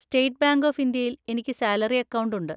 State bank of ഇന്ത്യയിൽ എനിക്ക് salary account ഉണ്ട്.